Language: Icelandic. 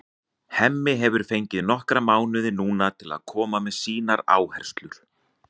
Hemmi hefur fengið nokkra mánuði núna til að koma með sínar áherslur.